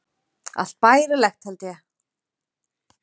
Allt bærilegt, held ég.